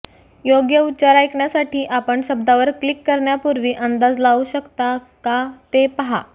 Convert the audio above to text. योग्य उच्चार ऐकण्यासाठी आपण शब्दावर क्लिक करण्यापूर्वी अंदाज लावू शकता का ते पहा